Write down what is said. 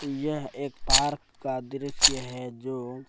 यह एक पार्क का दृश्य है जो --